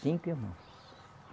Cinco irmãos.